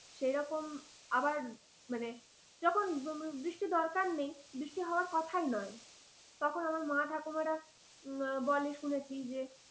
সেরকম, আবার মানে যখন বৃষ্টির দরকার নেই বৃষ্টি হওয়ার কথাই নয় তখন আমার মা ঠাকুমারা বলে শুনেছি যে,